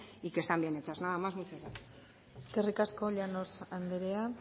y que están bien hechas nadas más muchas gracias eskerrik asko llanos andrea